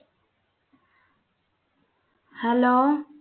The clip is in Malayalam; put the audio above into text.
hello